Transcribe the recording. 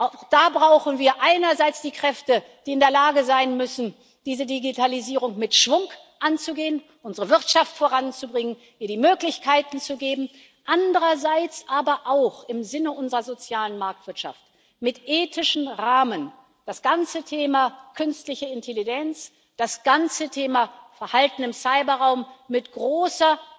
Auch da brauchen wir einerseits die Kräfte, die in der Lage sein müssen, diese Digitalisierung mit Schwung anzugehen, unsere Wirtschaft voranzubringen, ihr die Möglichkeiten zu geben, andererseits aber auch im Sinne unserer sozialen Marktwirtschaft mit ethischen Rahmen das ganze Thema künstliche Intelligenz undRisiken das ganze Thema Verhalten im Cyberraum mit großer